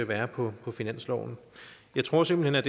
være på finansloven jeg tror simpelt